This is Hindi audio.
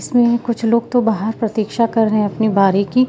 इसमें कुछ लोग तो बाहर प्रतीक्षा कर रहे अपनी बारी की--